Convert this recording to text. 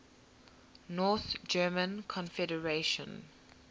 north german confederation